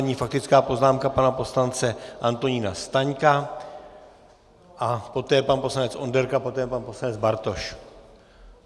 Nyní faktická poznámka pana poslance Antonína Staňka a poté pan poslanec Onderka, poté pan poslanec Bartoš.